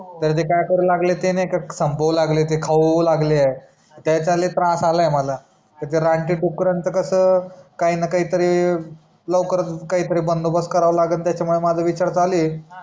तर काय करू लागले ते नाही का संपवू लागले खाऊ लागले आहे त्याचा लय त्रास आला आहे मला ते रानटी दुकरांच कस काही ना काही तरी लवकर बंदोबस्त कारव लागल त्याचा मूड माझा विचार चालू आहे